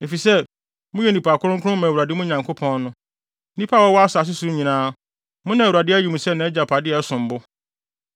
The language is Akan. efisɛ, moyɛ nnipa kronkron ma Awurade, mo Nyankopɔn no. Nnipa a wɔwɔ asase so nyinaa, mo na Awurade ayi mo sɛ nʼagyapade a ɛsom bo.